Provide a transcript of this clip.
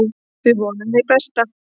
Við vonum hið besta.